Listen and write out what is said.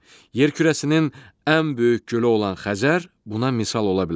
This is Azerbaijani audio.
Yer kürəsinin ən böyük gölü olan Xəzər buna misal ola bilər.